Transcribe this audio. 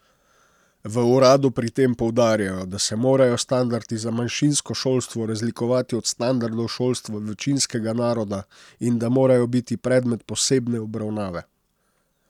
V uradu pri tem poudarjajo, da se morajo standardi za manjšinsko šolstvo razlikovati od standardov šolstva večinskega naroda in da morajo biti predmet posebne obravnave.